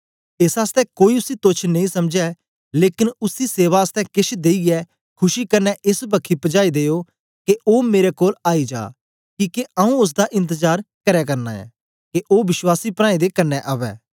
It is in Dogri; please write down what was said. एस आसतै कोई उसी तोच्छ नेई समझै लेकन उसी सेवा आसतै केछ देईयै खुशी कन्ने एस बक्खी पजाई देना के ओ मेरे कोल आई जा किके आऊँ ओसदा इंतजार करै करना ऐं के ओ विश्वासी प्राऐं दे कन्ने अवै